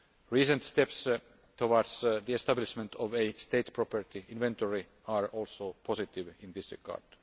Recent steps towards the establishment of a state property inventory are also positive in this regard.